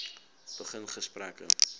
begin gesprekke